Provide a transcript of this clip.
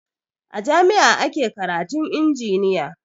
A jami'a ake karatun injiniya